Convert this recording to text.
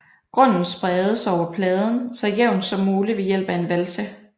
Grunden spredes over pladen så jævnt som muligt ved hjælp af en valse